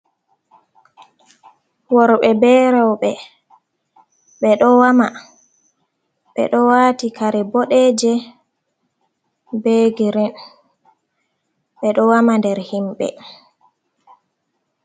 worɓe be reube ɓedo ɓe wama ɓeɗo wati kare boɗeje be girin ɓe ɗo wama nder himɓe.